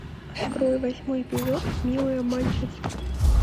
открой восьмой эпизод милые обманщицы